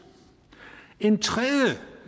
en tredje